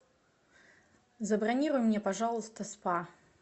забронируй мне пожалуйста спа